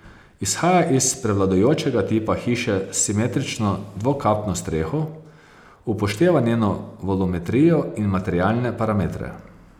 Izhaja iz prevladujočega tipa hiše s simetrično dvokapno streho, upošteva njeno volumetrijo in materialne parametre.